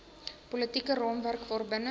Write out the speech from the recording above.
politieke raamwerk waarbinne